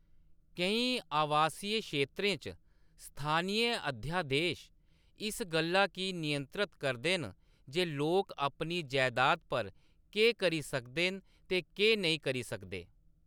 केईं आवासीय क्षेत्रें च, स्थानी अध्यादेश इस गल्ल गी नियंत्रित करदे न जे लोक अपनी जैदाद पर केह्‌‌ करी सकदे न ते केह्‌‌ नेईं करी सकदे।